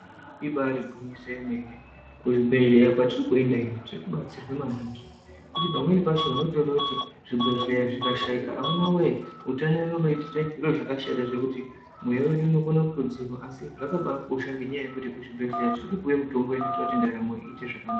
Ibaari gwinyiso remene kuzvibhehleya kwatiri kuenda ino tirikubatsirwa maningi ngekuti pamweni pacho unotoone kuti zvibhehleya zvikashaika amuna woye utano wedu unotiitire zvakashata zvekuti mweya wedu unokone kutodzima asi zvakabakosha ngenyaya yekuti kuzvibhehleya tirikupiwe mitombo inoite kuti ndaramo ite zvakanaka.